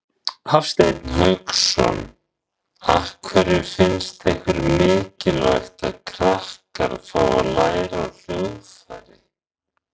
Hafsteinn Hauksson: Af hverju finnst ykkur mikilvægt að krakkar fái að læra á hljóðfæri?